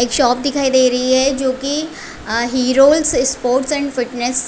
एक शॉप दिखाई दे रही है जो की हेरोंस स्पोर्ट्स एंड फिटनेस